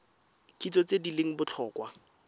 kitso tse di leng botlhokwa